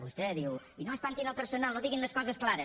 vostè diu i no espantin el personal no diguin les coses clares